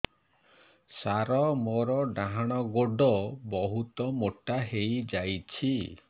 ସାର ମୋର ଡାହାଣ ଗୋଡୋ ବହୁତ ମୋଟା ହେଇଯାଇଛି